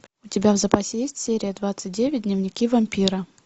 у тебя в запасе есть серия двадцать девять дневники вампира